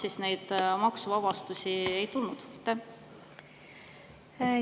Miks neid maksuvabastusi ei tulnud?